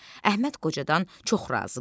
Əhməd qocadan çox razı qaldı.